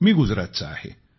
मी गुजरातचा आहे